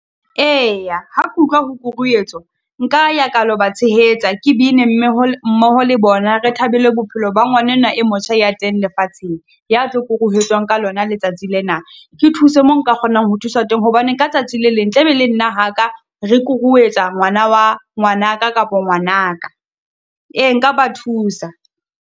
Eya, ha ke utlwa ho kuruetswa, nka ya ka lo ba tshehetsa, ke bine mme ha mmoho le bona, re thabile bophelo ba ngwanenwa e motjha ya teng lefatsheng, ya tlo kuruetswa ka lona letsatsi lena. Ke thuse mo nka kgonang ho thusa teng hobane ka tsatsi le leng, tla be le nna ha ka re kuruetswa ngwana wa ngwana ka kapa ngwana ka, ee nka ba thusa.